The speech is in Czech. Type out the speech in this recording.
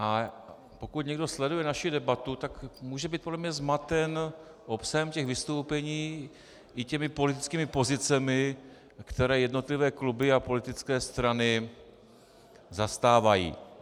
A pokud někdo sleduje naši debatu, tak může být podle mě zmaten obsahem těch vystoupení i těmi politickými pozicemi, které jednotlivé kluby a politické strany zastávají.